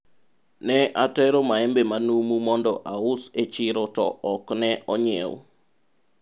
ne atero maembe manumu mondo aus e chiro to ok ne onyiew